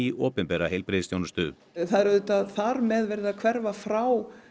opinbera heilbrigðisþjónustu það er auðvitað þar með verið að hverfa frá